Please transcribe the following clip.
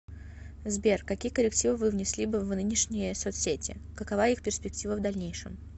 сбер какие коррективы вы внесли бы в нынешние соцсети какова их перспектива в дальнейшем